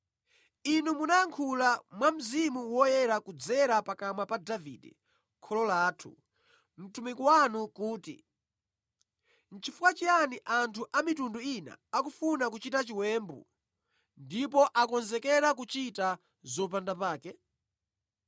Inu munayankhula mwa Mzimu Woyera kudzera pakamwa pa Davide kholo lathu, mtumiki wanu kuti, “ ‘Nʼchifukwa chiyani anthu a mitundu ina akufuna kuchita chiwembu, ndipo akonzekera kuchita zopandapake?